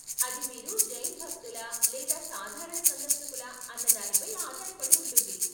అది మీరు జైన్ భక్తులా లేదా సాధారణ సందర్శకులా అన్నదానిపై ఆధారపడి ఉంటుంది.